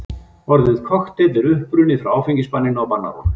Orðið kokteill er upprunnið frá áfengisbanninu á bannárunum.